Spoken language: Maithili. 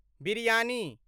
बिरयानी